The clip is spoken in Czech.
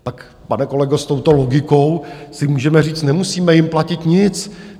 Pak, pane kolego, s touto logikou si můžeme říct, nemusíme jim platit nic.